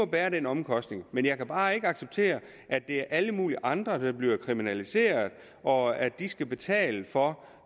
bære den omkostning jeg kan bare ikke acceptere at alle mulige andre bliver kriminaliseret og at de skal betale for